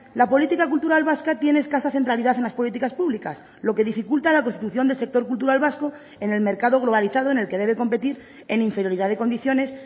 la política cultural vasca tiene escasa centralidad en las políticas públicas lo que dificulta la constitución del sector cultural vasco en el mercado globalizado en el que debe competir en inferioridad de condiciones